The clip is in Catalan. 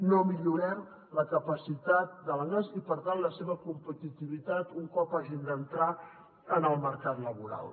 no millorem la capacitat de l’anglès i per tant la seva competitivitat un cop hagin d’entrar en el mercat laboral